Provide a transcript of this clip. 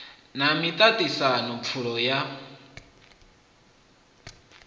na miṱa ṱisano pfulo ya